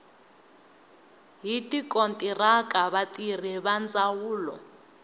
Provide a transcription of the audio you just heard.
hi tikontiraka vatirhi va ndzawulo